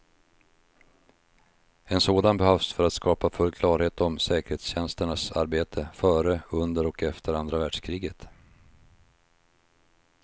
En sådan behövs för att skapa full klarhet om säkerhetstjänsternas arbete före, under och efter andra världskriget.